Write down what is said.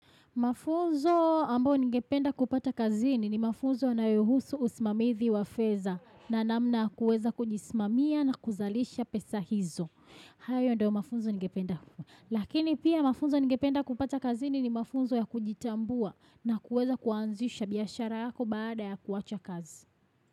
Mafunzo ambao ningependa kupata kazini ni mafunzo na yanayohusu usmamizi wa fedha na namna ya kuweza kujisimamia na kuzalisha pesa hizo. Hayo ndio mafunzo ningependa. Lakini pia mafunzo ningependa kupata kazini ni mafunzo ya kujitambua na kuweza kuanzisha biashara yako baada ya kuwacha kazi.